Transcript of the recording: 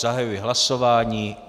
Zahajuji hlasování.